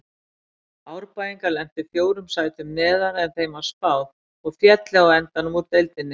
Árbæingar lentu fjórum sætum neðar en þeim var spáð og féllu á endanum úr deildinni.